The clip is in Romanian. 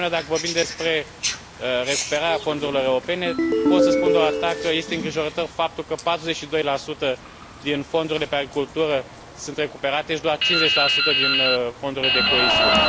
De asemenea, dacă vorbim despre recuperarea findurilor europene, pot să spun doar atât, că este îngrijorător faptul că 42 din fondurile pe agricultură sunt recuperate și doar 50 din fondurile de coeziune.